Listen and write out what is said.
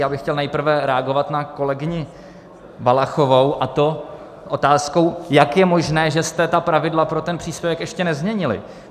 Já bych chtěl nejprve reagovat na kolegyni Valachovou, a to otázkou, jak je možné, že jste ta pravidla pro ten příspěvek ještě nezměnili.